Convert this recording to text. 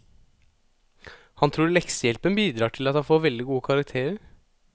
Han tror leksehjelpen bidrar til at han får veldig gode karakterer.